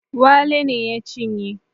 Wale ne ya cinye